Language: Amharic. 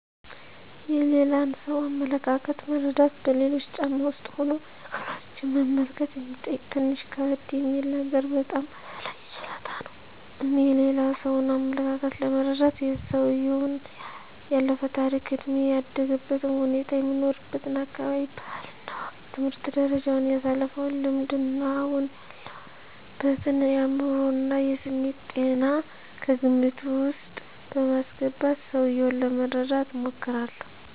የሌላን ሰው አመለካከት መረዳት በሌሎች ጫማ ውስጥ ሁኖ ነገሮችን መመልከት የሚጠይቅ ትንሽ ከበድ የሚል ነገር ግን በጣም አስፈላጊ ችሎታ ነው። እኔ የሌላ ሰውን አመለካከት ለመረዳት የሰውየውን ያለፈ ታሪክ፣ እድሜ፣ ያደገበትን ሁኔታ፣ የሚኖርበትን አካባቢ ባህል እና ወግ፣ የትምህርት ደረጃውን፣ ያሳለፈውን ልምድ እና አሁን ያለበትን የአዕምሮ እና የስሜት ጤና ከግምት ዉስጥ በማስገባት ሰውየውን ለመረዳት እሞክራለሁ።